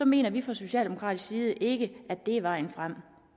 mener vi fra socialdemokratisk side ikke at det er vejen frem